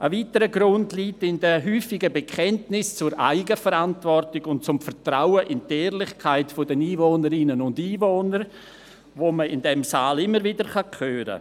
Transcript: Ein weiterer Grund liegt in den häufigen Bekenntnissen zur Eigenverantwortung und zum Vertrauen in die Ehrlichkeit der Einwohnerinnen und Einwohner, die man in diesem Saal immer gerne hört.